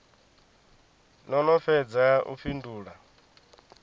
no no fhedza u fhindula